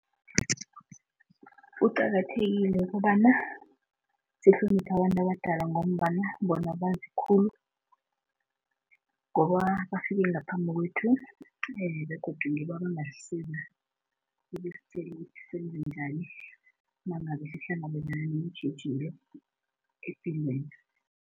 Kuqakathekile ukobana sihlonipha abantu abadala ngombana bona bazi khulu. Ngoba bafike ngaphambi kwethu begodu ngibo abangasisiza ukusitjela ukuthi senze njani nangabe sihlangabezana neentjhijilo epilweni.